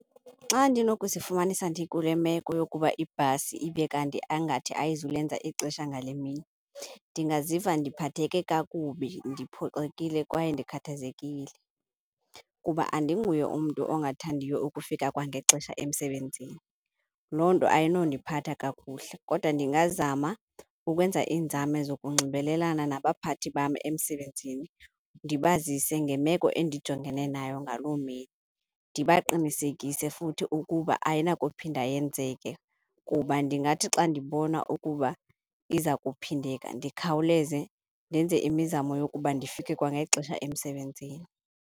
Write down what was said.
Xa ndinokuzifumanisa ndikule meko yokuba ibhasi ibe kanti angathi ayizulenza ixesha ngale mini, ndingaziva ndiphatheke kakubi, ndiphoxekile kwaye ndikhathazekile. Kuba andinguye umntu ongathandiyo ukufika kwangexesha emsebenzini, loo nto ayinondiphathanga kakuhle. Kodwa ndingazama ukwenza iinzame zokunxibelelana nabaphathi bam emsebenzini, ndibazise ngemeko endijongene nayo ngaloo mini. Ndibaqinisekise futhi ukuba ayinakuphinda yenzeke kuba ndingathi xa ndibona ukuba iza kuphindeka, ndikhawuleze ndenze imizamo yokuba ndifike kwangexesha emsebenzini.